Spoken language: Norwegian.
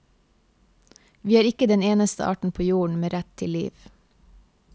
Vi er ikke den eneste arten på jorden med rett til liv.